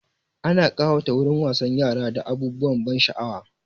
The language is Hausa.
Ana ƙawata wurin wasan yara da abubuwan ban sha'awa.